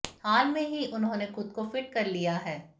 हाल में ही उन्होंने खुद को फिट कर लिया है